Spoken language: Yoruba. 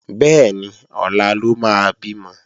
Bẹ́ẹ̀ni, ọ̀la ló máa bímọ